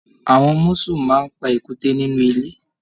Àwọn musù máa n pa èkúté nínú ilé.